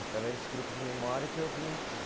Através desse grupo de memória que eu vim aqui.